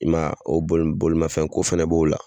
I ma ye bolimafɛn ko fɛnɛ b'o la